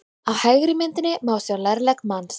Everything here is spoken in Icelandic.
Á hægri myndinni má sjá lærlegg manns.